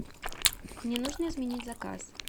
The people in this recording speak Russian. мне нужно изменить заказ